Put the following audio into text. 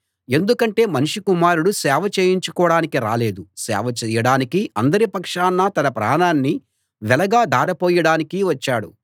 ఎందుకంటే మనుష్య కుమారుడు సేవ చేయించుకోడానికి రాలేదు సేవ చేయడానికీ అందరి పక్షాన తన ప్రాణాన్ని వెలగా ధార పోయడానికి వచ్చాడు